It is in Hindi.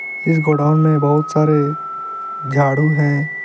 इस गोडाउन में बहुत सारे झाड़ू हैं।